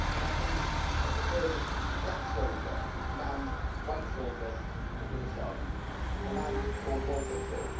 I think of the first black soldier to command white soldiers in the British Army, a man called Walter Tull.